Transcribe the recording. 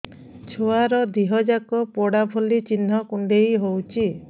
ଛୁଆର ଦିହ ଯାକ ପୋଡା ଭଳି ଚି଼ହ୍ନ କୁଣ୍ଡେଇ ହଉଛି